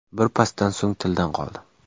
Bir pasdan so‘ng tildan qoldi.